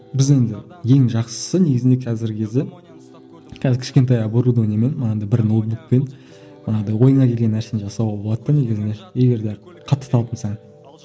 біздің ең жақсысы негізінде қазіргі кезде қазір кішкентай оборудованиемен манағыдай бір ноутбукпен манағыдай ойыңа келген нәрсені жасауға болады да негізінде егер де қатты талпынсаң